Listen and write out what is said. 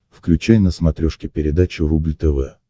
включай на смотрешке передачу рубль тв